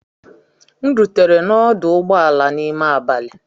M rutere n'ọdụ ụgbọ ala n'ime abalị.